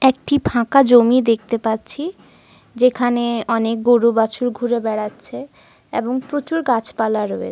এবং দূরে বিবর্ণ সীমাহীন আকাশ।